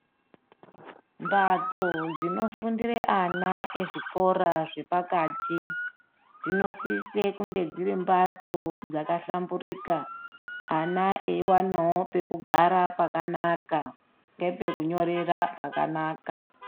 Mphatso dzinofundire ana ezvikora zvepakati, dzinosisa kunge dziri mphatso dzakahlamburika, ana eiwanawo pekugara pakanaka nepekunyorera pakanaka.